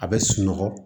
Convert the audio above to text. A bɛ sunɔgɔ